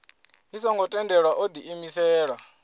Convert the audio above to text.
i songo tendelwaho o diimisela